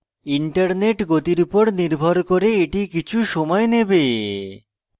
internet গতির উপর নির্ভর করে কিছু সময় নেবে